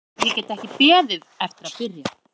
Ég get ekki beðið eftir að byrja.